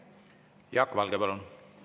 Jaak Valge, palun!